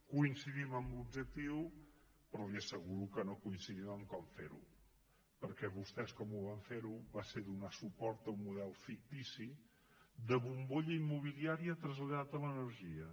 coincidim en l’objectiu però li asseguro que no coincidim en com ferho perquè vostès com ho van fer va ser donant suport a un model fictici de bombolla immobiliària traslladada a l’energia